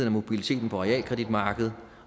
og mobiliteten på realkreditmarkedet